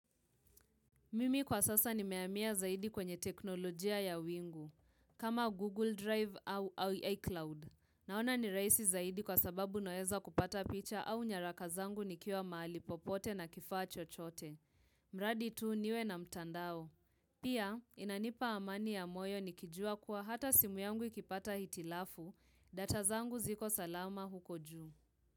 Mimi kwa sasa nimehamia zaidi kwenye teknolojia ya wingu, kama Google Drive au iCloud. Naona ni rahisi zaidi kwa sababu naweza kupata picha au nyaraka zangu nikiwa mahali popote na kifaa chochote. Mradi tu niwe na mtandao. Pia, inanipa amani ya moyo nikijua kuwa hata simu yangu ikipata hitilafu, data zangu ziko salama huko juu.